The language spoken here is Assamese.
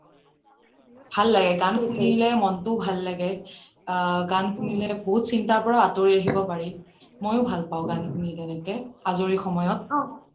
গান শুনিলে মনটো ভাল লাগে গান শুনিলে বহুত চিন্তাৰ পৰা আঁতৰি আহিব পাৰি মইয়ো গান শুনি ভাল পাও তেনেকে আজৰি সময়ত